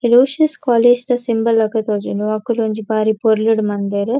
Aloysius college ದ symbol ಲೆಕ ತೋಜುಂಡು ಅಕುಲು ಒಂಜಿ ಬಾರಿ ಪೊರ್ಲುಡು ಮಲ್ದೆರ್.